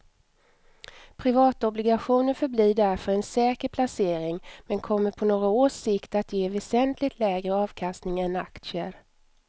Privatobligationer förblir därför en säker placering men kommer på några års sikt att ge väsentligt lägre avkastning än aktier.